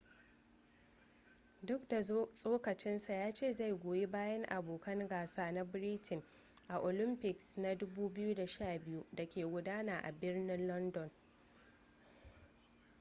duk da tsokacinsa ya ce zai goyi bayan abokan gasa na britain a 2012 olympics da ke gudana a birnin london